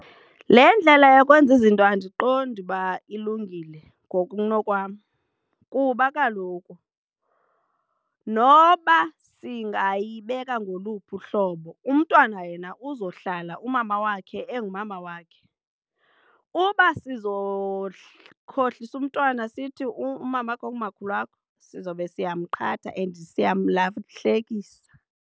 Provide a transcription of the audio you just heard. Le ndlela yokwenza izinto andiqondi uba ilungile ngokunokwam kuba kaloku noba singayibeka ngoluphi uhlobo umntwana yena uzohlala umama wakhe engumama wakhe. Uba sizokhohlisa umntwana sithi umama wakho ngumakhulu wakho sizobe siyamqhatha and siyamlahlekisa.